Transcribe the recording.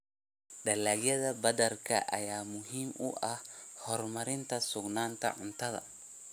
Dalagyada badarka ayaa muhiim u ah horumarinta sugnaanta cuntada.